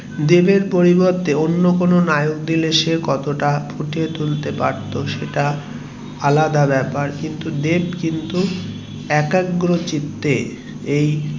দেবের পরিবর্তে অন্য কোনো নায়ক কে দিলে কতটা ফুটিয়ে তুলতে পারতো সেটা আলাদা ব্যাপার কিন্তু দেব কিন্তু একাগ্র চিত্তে এই